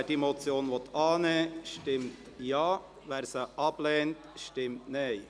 Wer die Motion annehmen will, stimmt Ja, wer diese ablehnt, stimmt Nein.